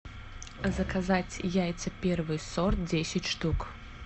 заказать яйца первый сорт десять штук